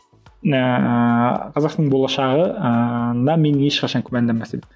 ііі қазақ тілінің болашағы ыыы мен ешқашан күмәнданбас едім